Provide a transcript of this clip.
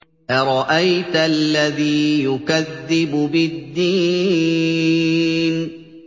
أَرَأَيْتَ الَّذِي يُكَذِّبُ بِالدِّينِ